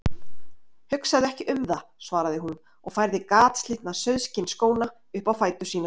Hugsaðu ekki um það, svaraði hún og færði gatslitna sauðskinnsskóna upp á fætur sína.